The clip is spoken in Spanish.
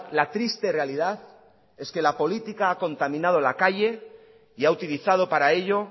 la triste realidad es que la política ha contaminado la calle y ha utilizado para ello